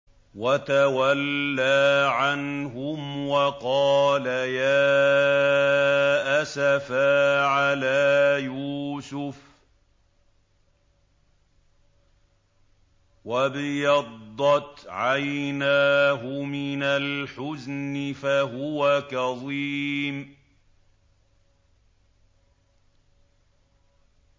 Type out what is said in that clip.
وَتَوَلَّىٰ عَنْهُمْ وَقَالَ يَا أَسَفَىٰ عَلَىٰ يُوسُفَ وَابْيَضَّتْ عَيْنَاهُ مِنَ الْحُزْنِ فَهُوَ كَظِيمٌ